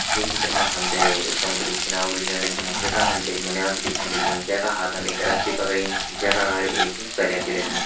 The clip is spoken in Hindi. ये चित्र मा हम तें एक समुद्र कु किनारू दिखेण लग्युं यखम हम तें एक नोनियल छ दिखेण लग्युं जे का हाथम एक रसी पकड़ी जे का अगाड़ी एक सरया च लगीं।